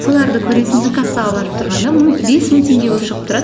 соларды көресің де кассаға барып тұрғанда бес мың теңге болып шығып тұрады